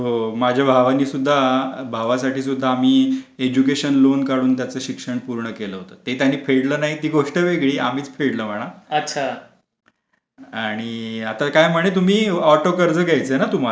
माझ्या भावाने सुद्धा भावासाठी सुद्धा आम्ही एज्युकेशन लोन काढून त्याचे शिक्षण पूर्ण केलं होतं ते त्यांनी फेडलं नाही ती गोष्ट वेगळी आम्हीच फेडला म्हणा. आणि आता काय म्हणे तुम्ही ऑटो कर्ज घ्यायचे ना तुम्हाला